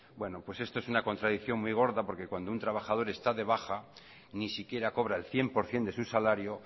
bueno pues esto es una contradicción muy gorda porque cuando un trabajador está de baja ni siquiera cobra el cien por ciento de su salario